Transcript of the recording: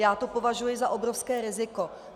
Já to považuji za obrovské riziko.